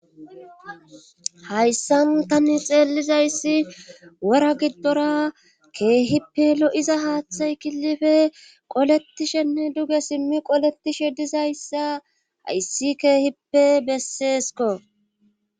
hayssan tani xeellizayssi wora giddora keehippe lo7iza haaththay kilife qoletishenne duge simmi qoletishe dizayssa hayssi keehippe besseesko